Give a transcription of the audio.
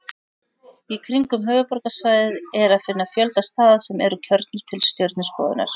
Í kringum höfuðborgarsvæðið er að finna fjölda staða sem eru kjörnir til stjörnuskoðunar.